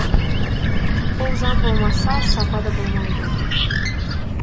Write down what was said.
ол заң болмаса сапа да болмайды